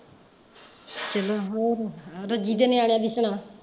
ਚਲੋ ਹੋਰ, ਦੂਜੀ ਦੇ ਨਿਆਣਿਆਂ ਦੀ ਸੁਣਾ?